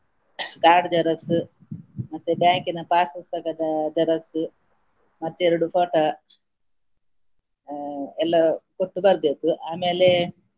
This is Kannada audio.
Card xerox ಮತ್ತೆ bank ನ pass ಪುಸ್ತಕದ xerox ಮತ್ತೆ ಎರಡು photo ಆ ಎಲ್ಲಾ ಕೊಟ್ಟು ಬರ್ಬೇಕು ಆಮೇಲೆ.